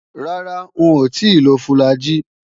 Rárá, ń ò tíì lo fùlàgi